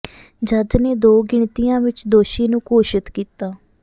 ਜੱਜ ਨੇ ਦੋ ਗਿਣਤੀਆਂ ਵਿੱਚ ਦੋਸ਼ੀ ਨੂੰ ਘੋਸ਼ਿਤ ਕੀਤਾ